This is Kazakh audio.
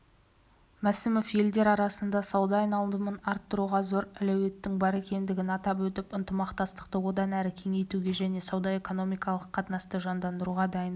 мәсімов елдер арасында сауда айналымын арттыруға зор әлеуеттің бар екендігін атап өтіп ынтымақтастықты одан әрі кеңейтуге және сауда-экономикалық қатынасты жандандыруға дайындығын